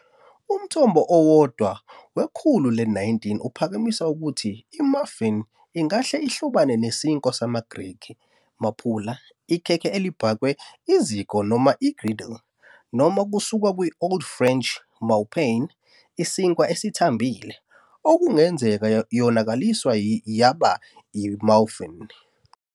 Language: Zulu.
Umthombo owodwa wekhulu le-19 uphakamisa ukuthi "i-muffin" ingahle ihlobane nesinkwa samaGrikhi "maphula", "ikhekhe elibhakwe eziko noma i-griddle", noma kusuka ku-Old French "mou-pain", "isinkwa esithambile", okungenzeka yonakaliswe yaba "i-mouffin".